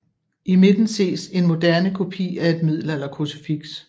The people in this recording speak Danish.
I midten ses en moderne kopi af et middelalderkrucifiks